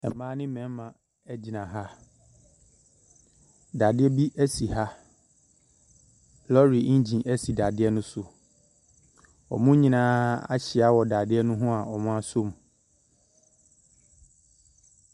Mmaa ne marima gyina ha. Dadeɛ bi si ha, lorry engene si dadeɛ no so. Wɔn nyinaa ahyia wɔ dadeɛ no ho a wɔasɔ mu.